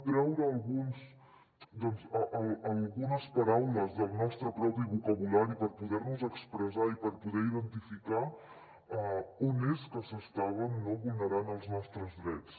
treure algunes paraules del nostre propi vocabulari per poder nos expressar i per poder identificar on és que s’estaven vulnerant els nostres drets